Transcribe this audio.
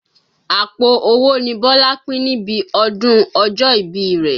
Àpò owó ni Bọ́lá pín níbi ọdún ọjọ́ ìbí rẹ̀.